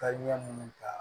Tari ɲɛ munnu ta